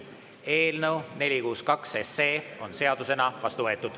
Eelnõu 462 on seadusena vastu võetud.